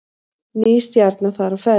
Ný stjarna þar á ferð